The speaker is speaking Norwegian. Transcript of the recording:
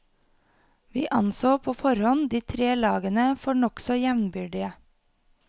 Vi anså på forhånd de tre lagene for nokså jevnbyrdige.